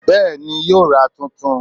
Bẹ́ẹ̀ni, yóò ra tuntun